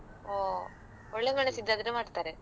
ಹೊ ಒಳ್ಳೆ ಮೆಣಸಿದ್ದದ್ರೆ ಮಾಡ್ತಾರೆ.